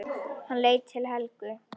Hann leit til Helgu.